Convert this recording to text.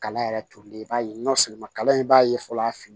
Kalan yɛrɛ tolilen i b'a ye nɔ seginuma kala in b'a ye fɔlɔ a fin